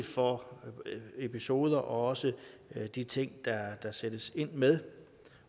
for episoder og også de ting der sættes ind med